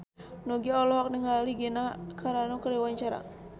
Nugie olohok ningali Gina Carano keur diwawancara